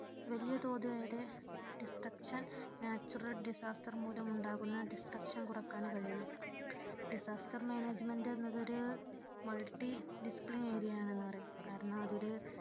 വലിയ തോതിൽ അതെ destructionnatural disaster മൂലമുള്ള destruction കുറയ്ക്കുവാൻ കഴിയും disaster management എന്നത് ഒരു multi discipline area ആണെന്ന് പറയും കാരണം അതിൽ